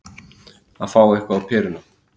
Að fá eitthvað á peruna